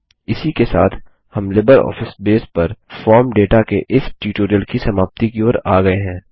इसी के साथ हम लिबरऑफिस बेस पर फॉर्म डेटा के इस ट्यूटोरियल की समाप्ति की ओर आ गये हैं